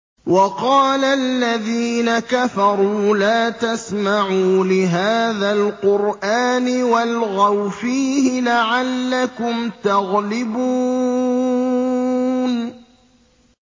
وَقَالَ الَّذِينَ كَفَرُوا لَا تَسْمَعُوا لِهَٰذَا الْقُرْآنِ وَالْغَوْا فِيهِ لَعَلَّكُمْ تَغْلِبُونَ